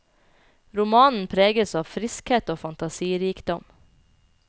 Romanen preges av friskhet og fantasirikdom.